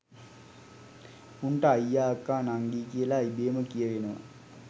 උන්ට අයියා අක්කා නංගි කියලා ඉබේම කියවෙනවා